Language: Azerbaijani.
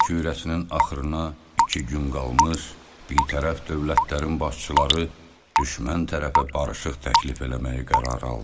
Yer kürəsinin axırına iki gün qalmış birtərəf dövlətlərin başçıları düşmən tərəfə barışıq təklif eləməyi qərar aldı.